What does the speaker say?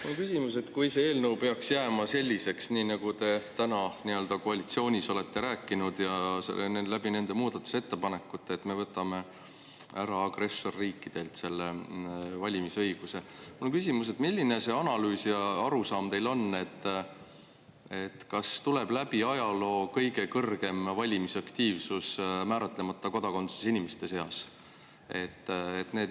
Mul on küsimus, et kui see eelnõu peaks jääma selliseks, nagu te koalitsioonis olete rääkinud ja muudatusettepanekuid teinud, et me võtame agressorriikide kodanikelt selle valimisõiguse ära, siis milline see analüüs ja arusaam teil on, kas tuleb läbi ajaloo kõige kõrgem valimisaktiivsus määratlemata kodakondsusega inimeste seas.